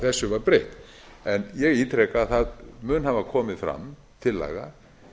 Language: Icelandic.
þessu var breytt en ég ítreka að það mun hafa komið fram tillaga